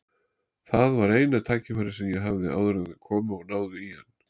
Það var eina tækifærið sem ég hafði áður en þeir komu og náðu í hann.